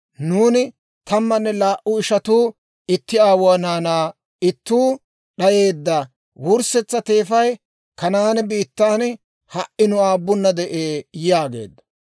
Nuuni tammanne laa"u ishatuu itti aawuwaa naanaa; ittuu d'ayeedda; wurssetsa teefay Kanaane biittan ha"i nu aabunna de'ee› yaageeddo.